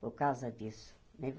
Por causa disso né.